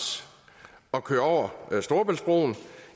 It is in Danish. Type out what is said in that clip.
at køre over storebæltsbroen